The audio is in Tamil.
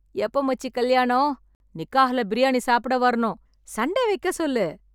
எப்ப மச்சி கல்யாணம்? நிக்காஹ்ல பிரியாணி சாப்பிட வரணும். சண்டே வைக்க சொல்லு.